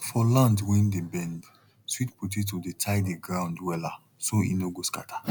for land wey dey bend sweet potato dey tie the ground well so e no go scatter